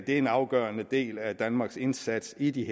en afgørende del af danmarks indsats i de